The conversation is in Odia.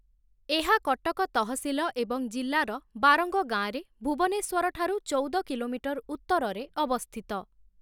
ଏହା କଟକ ତହସିଲ ଏବଂ ଜିଲ୍ଲାର ବାରଙ୍ଗ ଗାଁରେ ଭୁବନେଶ୍ୱରଠାରୁ ଚଉଦ କିଲୋମିଟର ଉତ୍ତରରେ ଅବସ୍ଥିତ ।